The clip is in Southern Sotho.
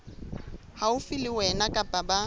haufi le wena kapa ba